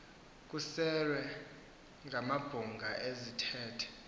kuserwe amabhunga ezithethe